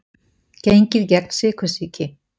Gengið gegn sykursýki